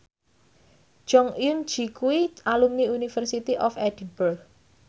Jong Eun Ji kuwi alumni University of Edinburgh